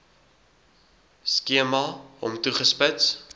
skema hom toegespits